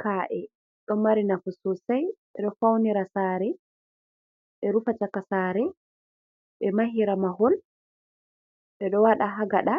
Ka’e ɗo mari nafu sosai. Ɓeɗo faunira sare, ɓe rufa caka sare, ɓe mahira mahol, ɓeɗo waɗa ha gaɗa,